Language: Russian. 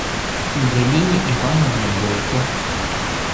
галине ивановне бойко